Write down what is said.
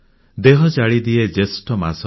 ଦେହ ଜାଳିଦିଏ ଜ୍ୟେଷ୍ଠ ମାସ